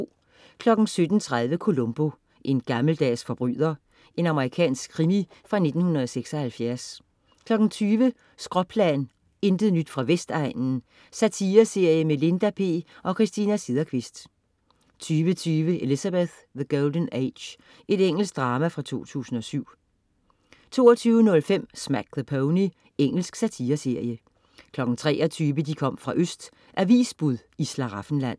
17.30 Columbo: En gammeldags forbryder. Amerikansk krimi fra 1976 20.00 Skråplan, intet nyt fra Vestegnen. Satireserie med Linda P og Christina Sederqvist 20.20 Elizabeth: The Golden Age. Engelsk drama fra 2007 22.05 Smack the Pony. Engelsk satireserie 23.00 De kom fra Øst. Avisbud i Slaraffenland